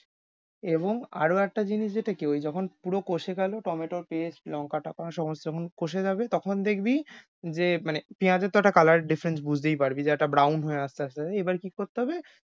এবং আরও একটা জিনিস যেটা কি ঐ যখন পুরো কষে গেলো tomato paste লঙ্কাটা সমস্ত যখন কষে যাবে তখন দেখবি, যে মানে পেয়াজ এর তো একটা colour difference বুঝতেই পারবি। যে একটা হয়ে আস্তে আস্তে এবার কি করতে হবে,